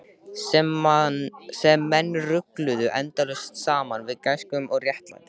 Sem menn rugluðu endalaust saman við gæsku og réttlæti.